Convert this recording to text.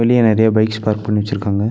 கீழ நெறையா bikes park பண்ணி வெச்சுருக்காங்க.